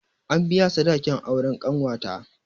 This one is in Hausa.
An biya sadakin auren ƙanwata